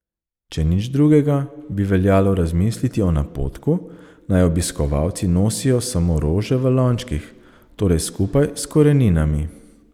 Če nič drugega, bi veljalo razmisliti o napotku, naj obiskovalci nosijo samo rože v lončkih, torej skupaj s koreninami.